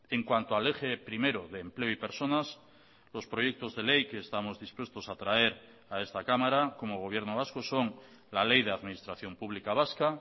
en cuanto al eje primero de empleo y personas los proyectos de ley que estamos dispuestos a traer a esta cámara como gobierno vasco son la ley de administración pública vasca